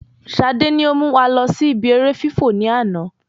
Sade ni o mú wa lọ sí ìbi eré fifọ́ ni àná